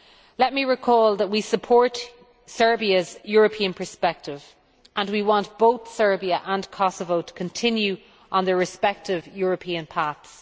Let me recall that we support Serbia's European perspective and want both Serbia and Kosovo to continue on their respective European paths.